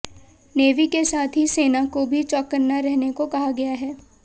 navy के साथ ही सेना को भी चौंकन्ना रहने को कहा गया है